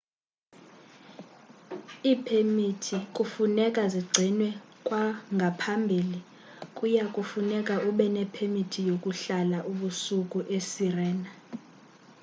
iipemiti kufuneka zigcinwe kwangaphambili kuya kufuneka ube nepemiti yokuhlala ubusuku esirena